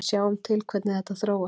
Við sjáum til hvernig þetta þróast.